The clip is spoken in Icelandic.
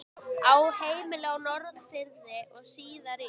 Á heimilið á Norðfirði og síðar í